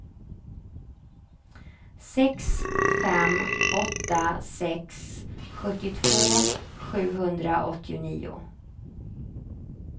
sex fem åtta sex sjuttiotvå sjuhundraåttionio